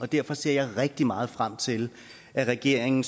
derfor ser jeg rigtig meget frem til at regeringen